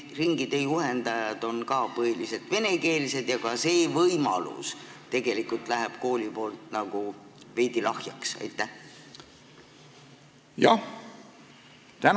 Kas ringide juhendajad on põhiliselt venekeelsed ja ka see võimalus tegelikult jääb koolis nagu veidi lahjaks?